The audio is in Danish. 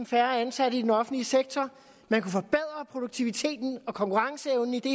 færre ansatte i den offentlige sektor man kunne forbedre produktiviteten og forbedre konkurrenceevnen i det